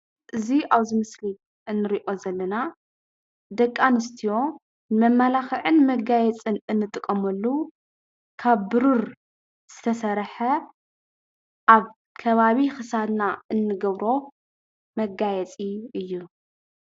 እዚ ኣብዚ ምስሊ እንሪኦ ዘለና ደቂ ኣንስትዮ መመላኽዕን መጋየፅን እንጥቀመሉ ካብ ቡሩር ዝተሰርሐ ኣብ ከባቢ ክሳድና እንገብሮ መጋየፂ እዩ።